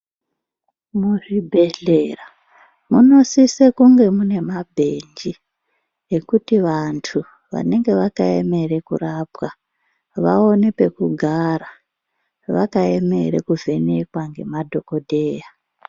Muzvibhedhlera munosise kunge muine mabhenji ekuti vantu vanenge vakaemere kurapwa vaone pekugara vakaemere kuvhenekwa namadhokodheya.